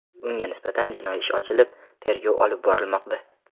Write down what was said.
Unga nisbatan jinoiy ish ochilib, tergov olib borilmoqda.